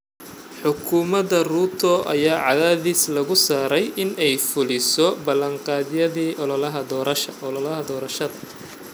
Xukuumada Ruto ayaa cadaadis lagu saarayaa inay fuliso balanqaadyadii ololaha doorashada.